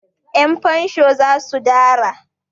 Yanfansho za su dara.